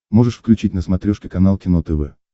можешь включить на смотрешке канал кино тв